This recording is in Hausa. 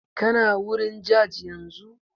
Kana wurin jaj yanzu?